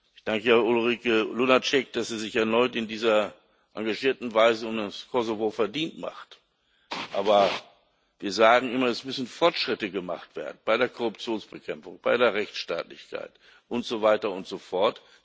Ich danke Ulrike Lunacek, dass sie sich erneut in dieser engagierten Weise um das Kosovo verdient macht, aber wir sagen immer Es müssen Fortschritte gemacht werden bei der Korruptionsbekämpfung, bei der Rechtsstaatlichkeit und so weiter und so fort.